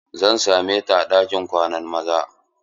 Zan same ta a ɗinkin kwanan maza.